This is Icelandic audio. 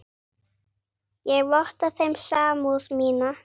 Ég votta þeim samúð mína.